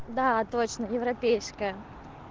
да точно европейская